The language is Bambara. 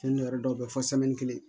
dɔw bɛ yen fɔ kelen